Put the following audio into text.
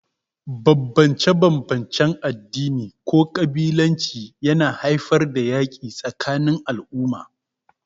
Bambance-bambancen addini ko kabilanci yana haifar da yaƙi tsakanin al'umma.